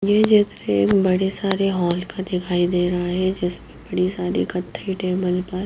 ये बड़े सारे होल का दिखाई दे रहा है जिस पर बड़ी सारी टेबल पर--